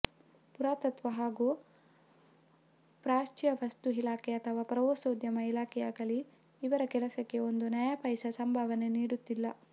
ಪುರಾತತ್ವ ಹಾಗೂ ಪ್ರಾಚ್ಯವಸ್ತು ಇಲಾಖೆ ಅಥವಾ ಪ್ರವಾಸೋದ್ಯಮ ಇಲಾಖೆಯಾಗಲಿ ಇವರ ಕೆಲಸಕ್ಕೆ ಒಂದು ನಯಾಪೈಸೆ ಸಂಭಾವನೆ ನೀಡುತ್ತಿಲ್ಲ